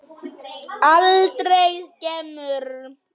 Aldrei skemur.